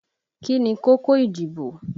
Kí ni kókó ìdìbò?